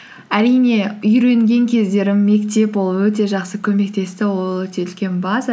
әрине үйренген кездерім мектеп ол өте жақсы көмектесті ол өте үлкен база